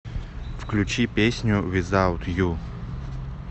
включи песню визаут ю